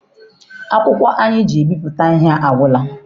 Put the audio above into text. Akwụkwọ anyị ji ebipụta ihe agwụla.